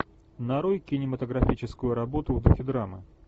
нарой кинематографическую работу в духе драмы